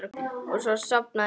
Og svo sofnaði hún.